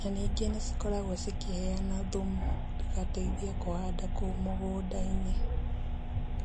na ningĩ nĩcikoragwo cikĩheyana thumu igateithia kũhanda kũu mũgũnda-inĩ.